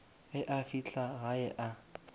ge a fihla gae a